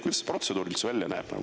Kuidas see protseduuriliselt välja näeb?